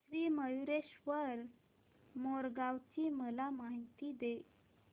श्री मयूरेश्वर मोरगाव ची मला माहिती दे